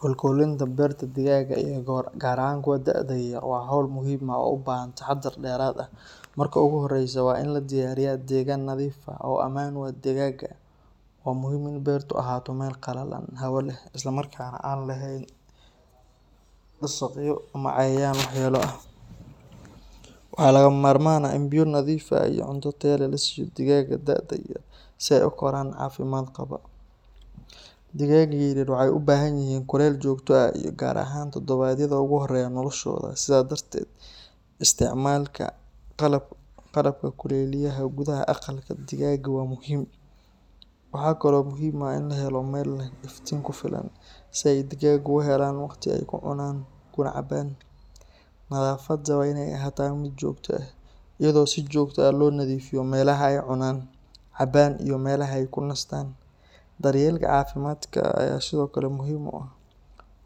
Kolkolinta beerta digaagga iyo gaar ahaan kuwa da’da yar waa hawl muhiim ah oo u baahan taxaddar dheeraad ah. Marka ugu horreysa, waa in la diyaariyaa deegaan nadiif ah oo ammaan u ah digaagga. Waa muhiim in beertu ahaato meel qalalan, hawo leh, isla markaana aan lahayn duqsiyo ama cayayaan waxyeelo leh. Waxaa lagama maarmaan ah in biyo nadiif ah iyo cunto tayo leh la siiyo digaagga da’da yar si ay u koraan caafimaad qaba. Digaagga yaryar waxay u baahan yihiin kuleyl joogto ah gaar ahaan toddobaadyada ugu horreeya noloshooda. Sidaa darteed, isticmaalka qalabka kuleyliyaha gudaha aqalka digaagga waa muhiim. Waxaa kaloo muhiim ah in la helo meel leh iftiin ku filan, si ay digaaggu u helaan waqti ay ku cunaan kuna cabbaan. Nadaafadda waa inay ahaataa mid joogto ah, iyadoo si joogto ah loo nadiifiyo meelaha ay cunaan, cabbaan, iyo meelaha ay ku nastaan. Daryeelka caafimaadka ayaa sidoo kale muhiim ah,